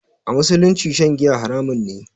A musulunci shan giya haramun ne